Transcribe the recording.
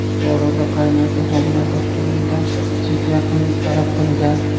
Buxoroda qaynota homilador kelinidan jinsiy yaqinlik talab qilgan.